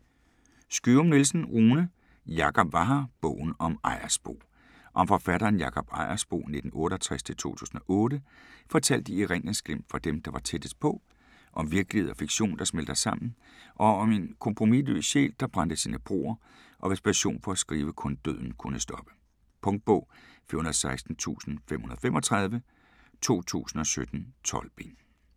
Skyum-Nielsen, Rune: Jakob var her: bogen om Ejersbo Om forfatteren Jakob Ejersbo (1968-2008) fortalt i erindringsglimt fra dem, der var tættest på. Om virkelighed og fiktion der smelter sammen, og om en kompromisløs sjæl, der brændte sine broer, og hvis passion for at skrive kun døden kunne stoppe. Punktbog 416535 2017. 12 bind.